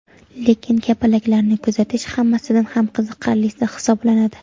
Lekin kapalaklarni kuzatish hammasidan ham qiziqarlisi hisoblanadi.